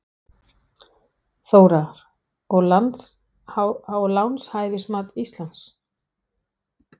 Þóra: Og lánshæfismat Íslands?